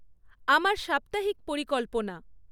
আমার সাপ্তাহিক পরিকল্পনা